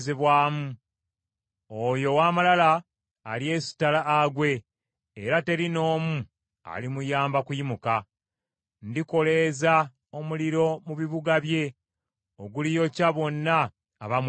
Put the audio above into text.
Oyo ow’amalala alyesittala agwe era teri n’omu alimuyamba kuyimuka; Ndikoleeza omuliro mu bibuga bye oguliyokya bonna abamwetoolodde.”